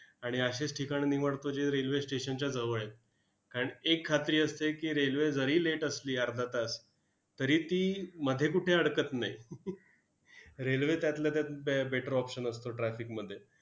आणि अशीच ठिकाणं निवडतो जी railway station च्या जवळ आहे. कारण एक खात्री असते की, railway जरी late असली अर्धा तास, तरी ती मध्ये कुठे अडकत नाही. railway त्यातला त्यात बॅ better option असतो traffic मध्ये.